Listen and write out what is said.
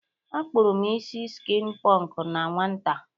Akpụrụ m isi skin pọnk na nwata.